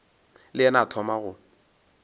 le yena a thoma go